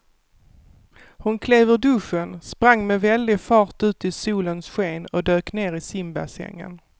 Hon klev ur duschen, sprang med väldig fart ut i solens sken och dök ner i simbassängen.